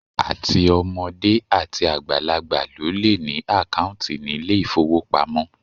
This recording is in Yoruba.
Àti ọmọdé àti àgbàlagbà ló le ní àkáùntì nílé ìfówopamọ́.